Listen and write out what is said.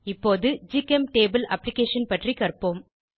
இப்போது ஜிகெம்டேபுள் அப்ளிகேஷன் பற்றி கற்போம்